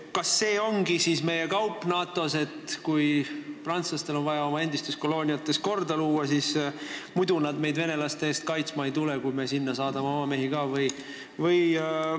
Kas sellise kauba me olemegi NATO-s teinud, et kui prantslastel on vaja oma endistes kolooniates korda luua, siis muidu nad meid venelaste eest kaitsma ei tule, kui me sinna ka oma mehi ei saada?